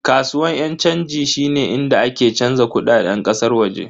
Kasuwan yan chanji shine inda ake canza kudaden kasar waje.